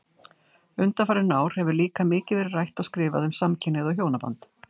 Undanfarin ár hefur líka mikið verið rætt og skrifað um samkynhneigð og hjónaband.